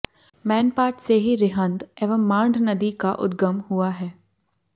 मैनपाट से ही रिहन्द एवं मांड नदी का उदगम हुआ है